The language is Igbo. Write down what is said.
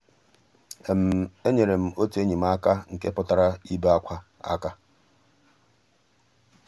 ényéré m ótú ényí m àká nkè pụ́tárá ìbé ákwá àká.